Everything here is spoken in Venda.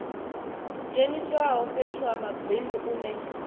dzheniswaho fhethu ha mabindu une